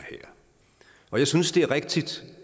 og jeg synes det er rigtigt